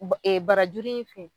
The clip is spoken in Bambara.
Ba e barajuru in fɛn